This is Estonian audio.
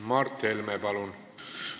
Mart Helme, palun!